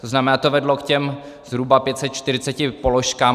To znamená, to vedlo k těm zhruba 540 položkám.